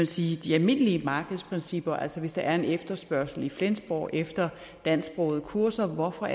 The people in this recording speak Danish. sige de almindelige markedsprincipper altså hvis der er en efterspørgsel i flensborg efter dansksprogede kurser hvorfor